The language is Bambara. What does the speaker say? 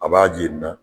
A b'a jeni